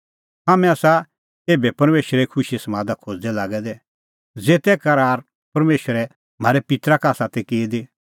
हाम्हैं आसा एभै परमेशरे खुशीए समादा खोज़दै लागै दै ज़ेते करार परमेशरै म्हारै पित्तरा का आसा ती की दी